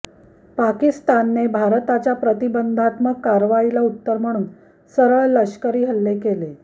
पाकिस्तानने भारताच्या प्रतिबंधात्मक कारवाईला उत्तर म्हणून सरळ लष्करी हल्ले केले